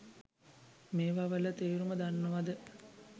මේවා වල තේරුම දන්නවද?